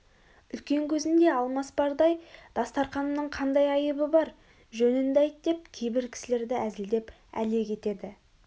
үлкен көзінде алмас бардай дастарқанымның қандай айыбы бар жөнінді айт деп кейбір кісілерді әзілдеп әлек етеді